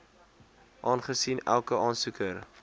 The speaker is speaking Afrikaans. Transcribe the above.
aangesien elke aansoeker